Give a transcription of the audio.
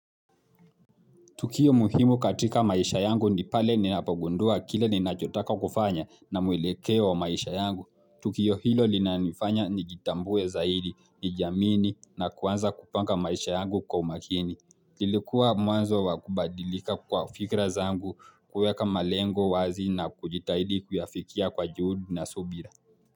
Tukio muhimu katika maisha yangu nipale ninapogundua kile ninachotaka kufanya na mwelekeo wa maisha yangu. Tukio hilo linanifanya ni jitambue zaidi, nijamini na kuanza kupanga maisha yangu kwa umakini. Nilikuwa mwanzo wakubadilika kwa fikra zangu kuweka malengo wazi na kujitahidi kuyafikia kwa juhudi na subira.